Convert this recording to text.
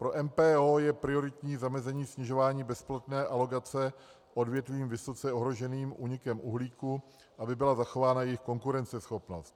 Pro MPO je prioritní zamezení snižování bezplatné alokace odvětvím vysoce ohroženým únikem uhlíku, aby byla zachována jejich konkurenceschopnost.